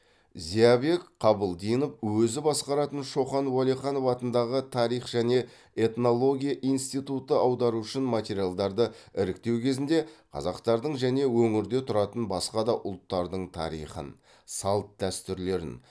зиябек қабылдинов өзі басқаратын шоқан уәлиханов атындағы тарих және этнология институты аудару үшін материалдарды іріктеу кезінде қазақтардың және өңірде тұратын басқа да ұлттардың тарихын салт дәстүрлерін